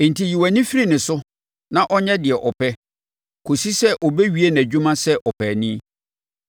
Enti, yi wʼani firi ne so na ɔnyɛ deɛ ɔpɛ, kɔsi sɛ ɔbɛwie nʼadwuma sɛ ɔpaani.